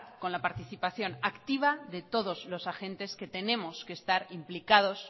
con la participación activa de todos los agentes que tenemos que estar implicados